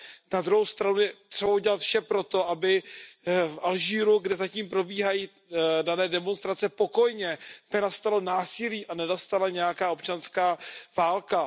Na druhou stranu je třeba udělat vše pro to, aby v Alžírsku, kde zatím probíhají dané demonstrace pokojně, nenastalo násilí a nenastala nějaká občanská válka.